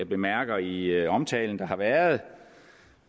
bemærket i omtalen der har været